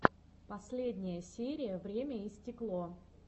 последняя серия время и стекло